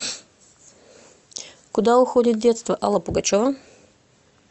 куда уходит детство алла пугачева